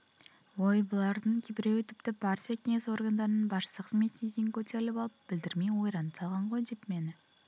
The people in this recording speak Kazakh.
ой бұлардың кейбіреуі тіпті партия кеңес органдарының басышысы қызметіне дейін көтеріліп алып білдірмей ойранды салған ғой деп мені